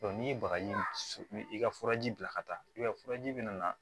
n'i ye bagaji i ka furaji bila ka taa i b'a ye furaji bɛna